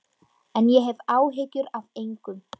En ég hef áhyggjur af engum.